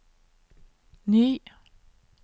ny